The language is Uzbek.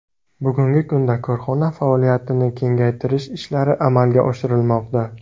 Bugungi kunda korxona faoliyatini kengaytirish ishlari amalga oshirilmoqda.